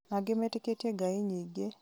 Na angĩ metĩkĩtie Ngai nyingĩ